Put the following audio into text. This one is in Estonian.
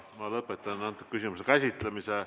Lõpetan antud küsimuse käsitlemise.